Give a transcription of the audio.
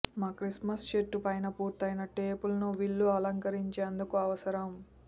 మా క్రిస్మస్ చెట్టు పైన పూర్తయిన టేపులను విల్లు అలంకరించేందుకు అవసరం